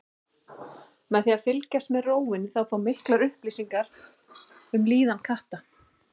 Með því að fylgjast með rófunni má fá miklar upplýsingar um líðan katta.